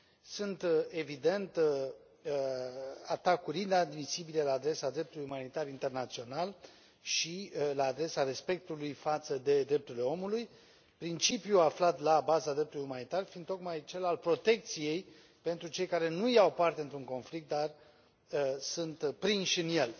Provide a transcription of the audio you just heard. Sunt, evident, atacuri inadmisibile la adresa dreptului umanitar internațional și la adresa respectului față de drepturile omului, principiul aflat la baza dreptului umanitar fiind tocmai cel al protecției pentru cei care nu iau parte într un conflict, dar sunt prinși în el.